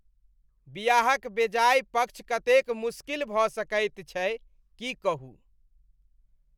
बियाहक बेजाय पक्ष कतेक मुश्किल भऽ सकैत छै, की कहू?